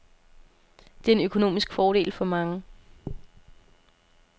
Det er en økonomisk fordel for mange.